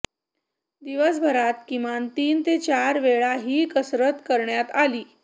दिवसभरात किमान तीन ते चार वेळा ही कसरत करण्यात आली